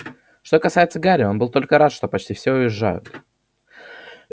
что касается гарри он был только рад что почти все уезжают